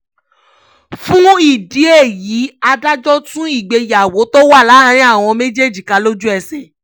fún ìdí èyí adájọ́ tú ìgbéyàwó tó wà láàrin àwọn méjèèjì ká lójú-ẹsẹ̀